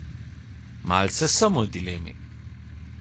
Malce sem v dilemi.